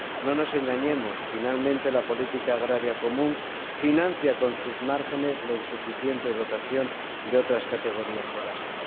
No nos engañemos finalmente, la Política Agrícola Común financia con sus márgenes la insuficiente dotación de otras categorías de gasto.